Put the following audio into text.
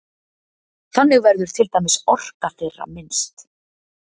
Þannig verður til dæmis orka þeirra minnst.